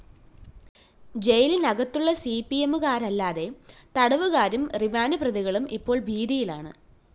ജയിലിനകത്തുള്ള സിപിഎമ്മുകാരല്ലാത്ത തടവുകാരും റിമാൻഡ്‌ പ്രതികളും ഇപ്പോള്‍ ഭീതിയിലാണ്